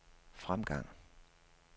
fremgang